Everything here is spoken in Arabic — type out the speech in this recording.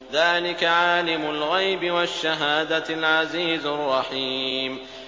ذَٰلِكَ عَالِمُ الْغَيْبِ وَالشَّهَادَةِ الْعَزِيزُ الرَّحِيمُ